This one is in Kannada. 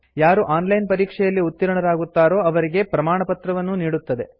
ಯಾರು ಆನ್ ಲೈನ್ ಪರೀಕ್ಷೆಯಲ್ಲಿ ಉತ್ತೀರ್ಣರಾಗುತ್ತಾರೋ ಅವರಿಗೆ ಪ್ರಮಾಣಪತ್ರವನ್ನೂ ನೀಡುತ್ತದೆ